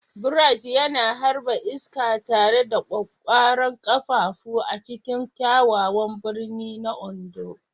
Bright yana harba iska tare da ƙwaƙƙwaran ƙafafu a cikin kyakkyawan birni na Ondo.